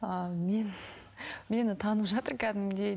ыыы мен мені танып жатыр кәдімгідей